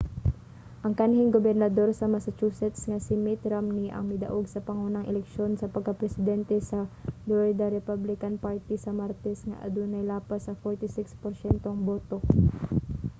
ang kanhing gobernador sa massachusetts nga si mitt romney ang midaog sa pangunang eleksyon sa pagka-presente sa dlorida republican party sa martes nga adunay lapas sa 46 porsyentong boto